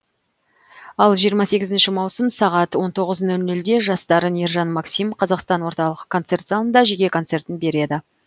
ал жиырма сегізінші маусым сағат он тоғыз нөл нөлде жас дарын ержан максим қазақстан орталық концерт залында жеке концертін береді